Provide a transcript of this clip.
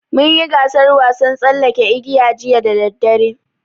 Mun yi gasaar wasan tsallaken igiya jiya da daddare.